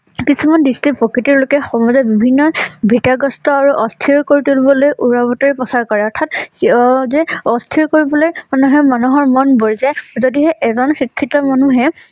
কিছুমান দৃষ্টিত প্ৰকৃতি লোকে সমাজৰ বিভিন্ন ধিতাগ্ৰস্থ আৰু অস্থিৰ তুলিবলৈ উৰা বাতৰি প্ৰচাৰ কৰে। অৰ্থাৎ সেই যে অস্থিৰ কৰিবলৈ মানুহে মানুহৰ মন বৈ যে যদিহে এজন শিক্ষিত মানুহে